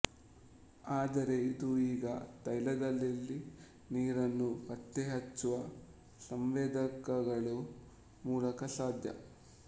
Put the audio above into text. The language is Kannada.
ಆದರೆ ಇದು ಈಗ ತೈಲದಲ್ಲಿನೀರನ್ನು ಪತ್ತೆಹಚ್ಚುವ ಸಂವೇದಕಗಳ ಮೂಲಕ ಸಾಧ್ಯ